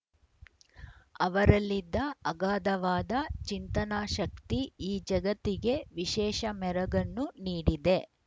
ಅವರಲ್ಲಿದ್ದ ಅಘಾದವಾದ ಚಿಂತನಾ ಶಕ್ತಿ ಈ ಜಗತ್ತಿಗೆ ವಿಶೇಷ ಮೆರಗನ್ನು ನೀಡಿದೆ